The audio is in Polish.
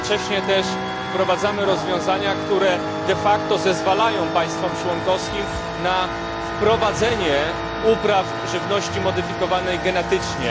Jednocześnie też wprowadzamy rozwiązania, które de facto zezwalają państwom członkowskim na wprowadzenie upraw żywności modyfikowanej genetycznie.